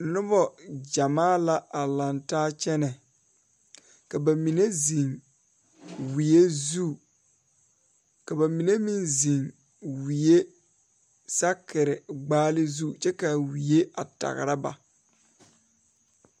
Nobɔgyamaa la a laŋtaa kyɛnɛ ka ba mine ziŋ wie zu ka ba mine meŋ ziŋ wie sakire gbaale zu kyɛ kaa wie tagra ba.